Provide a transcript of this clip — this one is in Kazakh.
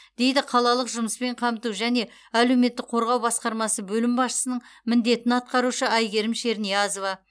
дейді қалалық жұмыспен қамту жане әлеуметтік қорғау басқармасы бөлім басшысының міндетін атқарушы әйгерім шерниязова